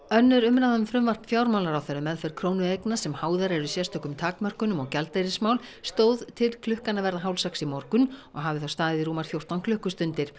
önnur umræða um frumvarp fjármálaráðherra um meðferð krónueigna sem háðar eru sérstökum takmörkunum og gjaldeyrismál stóð til klukkan að verða hálf sex í morgun og hafði þá staðið í rúmar fjórtán klukkustundir